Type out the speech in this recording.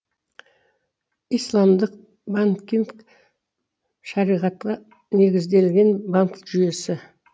исламдық банкинг шариғатқа негізделген банк жүйесі